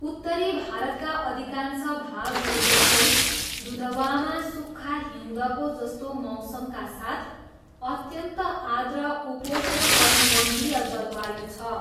उत्तरी भारतका अधिकांश भागहरू जस्तै, दुधवामा सुक्खा हिउँदको जस्तो मौसमका साथ अत्यन्त आर्द्र उपोष्णकटिबन्धीय जलवायु छ।